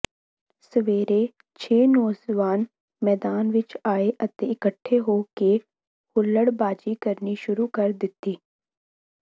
ਸਵੇਰੇ ਛੇ ਨੌਜਵਾਨ ਮੈਦਾਨ ਵਿੱਚ ਆਏ ਅਤੇ ਇਕੱਠੇ ਹੋ ਕੇ ਹੁੱਲੜਬਾਜੀ ਕਰਨੀ ਸ਼ੁਰੂ ਕਰ ਦਿੱਤੀ